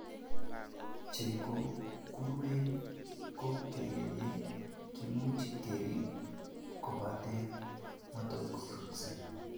Che ko keruen, ko kakenyet kimuch keriib kobaten motesoksee.